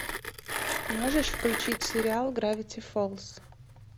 можешь включить сериал гравити фолз